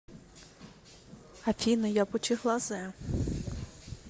афина я пучеглазая